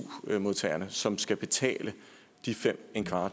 modtagerne som skal betale de fem